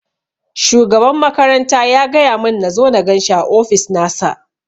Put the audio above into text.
Shugaban makaranta ya gaya mun nazo na ganshi a ofis nasa